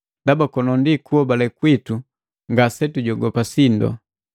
Ndaba kono ndi kuhobale kwitu ngasetujogopa sindo.